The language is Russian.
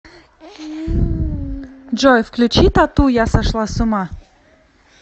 джой включи т а т у я сошла с ума